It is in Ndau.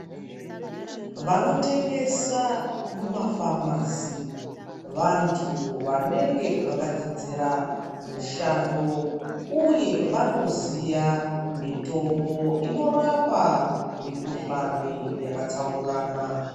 Vanotengesa muma pharmacy vantu vanenge vakadzidzira mishando uye vanoziya mitombo inorapa mikhuhlani yakatsaukana.